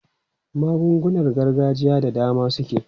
Magungunar gargajiya da dama suke.